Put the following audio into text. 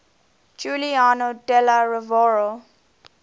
giuliano della rovere